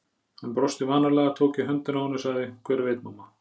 Hann brosti vanalega, tók í höndina á henni og sagði: Hver veit, mamma?